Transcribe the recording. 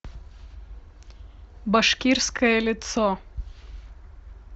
башкирское лицо